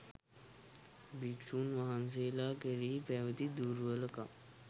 භික්ෂූන් වහන්සේලා කෙරෙහි පැවති දුර්වලකම්